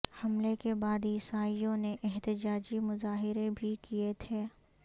حملے کے بعد عیسائیوں نے احتجاجی مظاہرے بھی کئے تھے